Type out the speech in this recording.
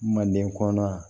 Manden kɔnɔ